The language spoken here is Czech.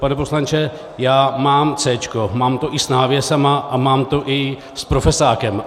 Pane poslanče, já mám C, mám to i s návěsy a mám to i s profesákem.